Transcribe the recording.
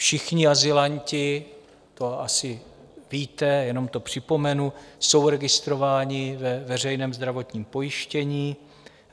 Všichni azylanti - to asi víte, jenom to připomenu - jsou registrováni ve veřejném zdravotním pojištění.